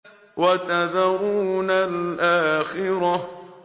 وَتَذَرُونَ الْآخِرَةَ